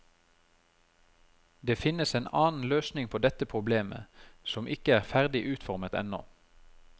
Det finnes en annen løsning på dette problemet, som ikke er ferdig utformet ennå.